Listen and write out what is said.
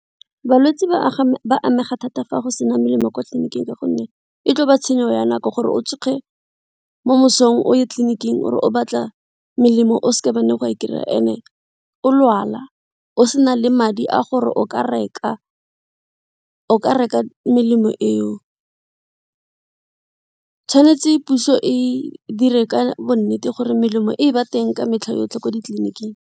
Balwetse ba ba amega thata fa go sena melemo kwa tleliniking ka gonne e tlo ba tshenyo ya nako gore o tsoge mo mosong o ye tleliniking o re o batla melemo o seke ba nne wa e kry-a and o lwala, o sena le madi a gore o ka reka melemo eo tshwanetse puso e dire ka bo nnete gore melemo e ba teng ka metlha yotlhe ko ditleliniking.